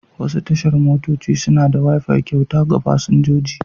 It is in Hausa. Wasu tashar motoci suna ba da wifi kyauta ga fasinjoji.